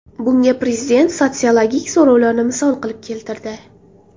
Bunga prezident sotsiologik so‘rovlarni misol qilib keltirdi.